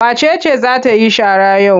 Wace ce za ta yi shara yau?